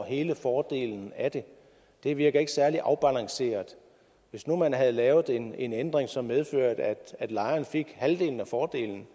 hele fordelen af det det virker ikke særlig afbalanceret hvis nu man havde lavet en en ændring som medførte at lejerne fik halvdelen af fordelen